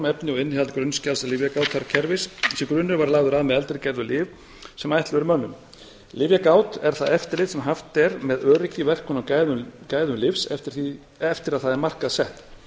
efni og innihald grunnskjals lyfjagátarkerfis þessi grunnur var lagður af með eldri gerðar lyf sem ætluð eru mönnum lyfjagát er það eftirlit sem haft er með öryggi verkun og gæðum lyfs eftir að það er markaðssett